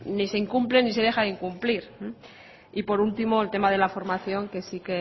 ni se incumple ni se deja de incumplir y por último el tema de la formación que sí